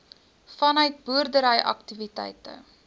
vanuit boerdery aktiwiteite